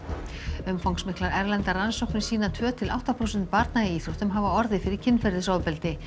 umfangsmiklar erlendar rannsóknir sýna að tvö til átta prósent barna í íþróttum höfðu hafa orðið fyrir kynferðisofbeldi